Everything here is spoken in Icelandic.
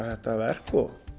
þetta verk